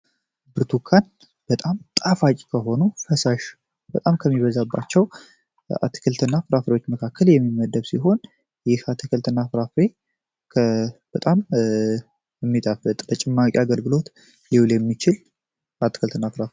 ብርቱካን በጣም ጣፋጭ አቂ ከሆኑ ፈሳሽ በጣም ከሚበዛባቸው አትክልት እና ፍራፍሬዎች መካከል የሚመደብ ሲሆን ይህ አትክልት ና ራሬ በጣም የሚጥ ለጭማቂ አገርግሎት ሊውል የሚችል አትክል።